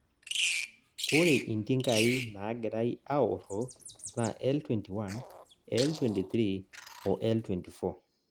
Ore intinkai naagirai aoro na L-21, L-23 o L-24